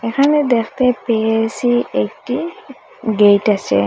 এখানে দেখতে পেয়েসি একটি গেইট আসে।